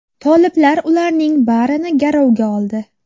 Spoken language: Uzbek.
Toliblar ularning barini garovga oldi.